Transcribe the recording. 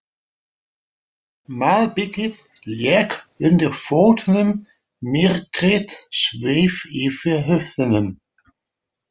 Malbikið lék undir fótunum, myrkrið sveif yfir höfðunum.